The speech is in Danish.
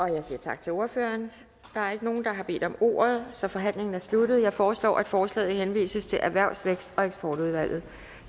jeg siger tak til ordføreren der er ikke nogen der har bedt om ordet så forhandlingen er sluttet jeg foreslår at forslaget henvises til erhvervs vækst og eksportudvalget